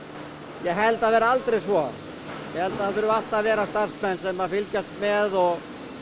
ég held það verði aldrei svo ég held það þurfi alltaf að vera starfsmenn sem að fylgjast með og